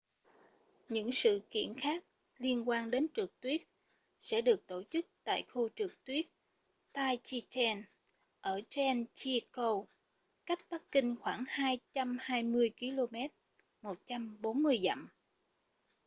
những sự kiện khác liên quan đến trượt tuyết sẽ được tổ chức tại khu trượt tuyết taizicheng ở zhangjiakou cách bắc kinh khoảng 220 km 140 dặm